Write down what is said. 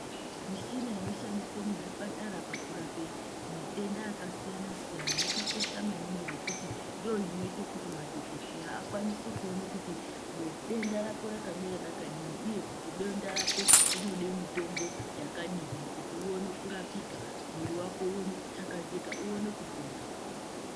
Michina inoshandiswa muzvipatara pakurape matenda akasiyana-siyana, akakosha maningi ngekuti ndorinoite kuti madhogodheya akwanise kuona kuti denda rako rakamira rakadini, uye kuti denda rako rinoda mutombo yakadini kuti oone kurapika mwiri wako uone kutakazika uone kupona.